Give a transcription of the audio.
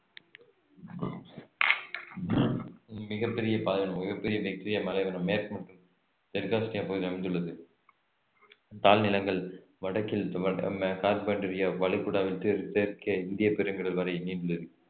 மிகப் பெரிய பாதை மிகப் பெரிய விக்டோரியா பாலைவனம் மேற்கு மற்றும் தெற்கு ஆஸ்திரேலியாவில் அமைந்துள்ளது தாழ் நிலங்கள் வடக்கில் கார்பென்டரியா வளைகுடாவில் தெற்~ தெற்கே இந்திய பெருங்கடல் வரை நீண்டுள்ளது